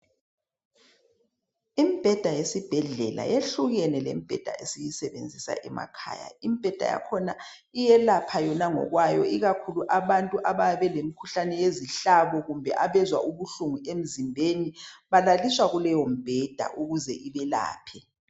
Imibheda yesibhendlela yehlukene lembheda esisebenzisa ngemakhaya imbheda yakhona iyelapha yona ngokwayo ikakhulu abantu abayebe belemkhuhlane yezihlabo kumbe abezwa ubuhlungu emzimbeni balaliswa kuleyo mbheda ukuze ibelaphe.